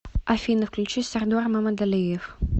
афина включи сардор мамадалиев